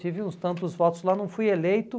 Tive uns tantos votos lá, não fui eleito.